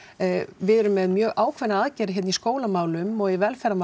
við erum með mjög ákveðna aðgerð hérna í skólamálum og í velferðarmálum